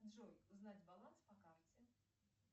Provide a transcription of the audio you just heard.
джой узнать баланс по карте